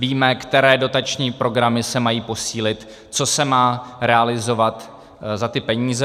Víme, které dotační programy se mají posílit, co se má realizovat za ty peníze.